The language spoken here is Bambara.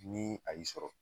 Ni a y'i sɔrɔ